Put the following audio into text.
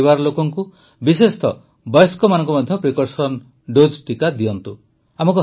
ନିଜ ପରିବାର ଲୋକଙ୍କୁ ବିଶେଷତଃ ବୟସ୍କମାନଙ୍କୁ ମଧ୍ୟ ପ୍ରିକସନ୍ ଡୋଜ୍ ଟିକା ଦିଅନ୍ତୁ